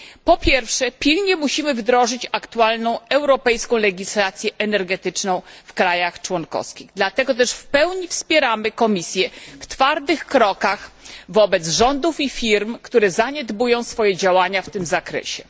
Po pierwsze, musimy pilnie wdrożyć aktualną europejską legislację energetyczną w państwach członkowskich. Dlatego też w pełni wspieramy Komisję w twardych krokach wobec rządów i firm, które zaniedbują swoje działania w tym zakresie.